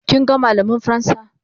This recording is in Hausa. kin ga mallamin fransa?